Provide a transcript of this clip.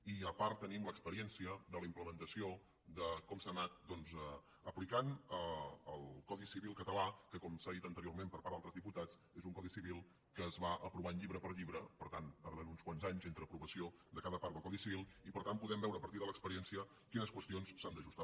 i a part tenim l’experiència de la implementació de com s’ha anat doncs aplicant el codi civil català que com s’ha dit anteriorment per part d’altres diputats és un codi civil que es va aprovant llibre per llibre per tant tardant uns quants anys entre l’aprovació de cada part del codi civil i per tant podem veure a partir de l’experiència quines qüestions s’han d’ajustar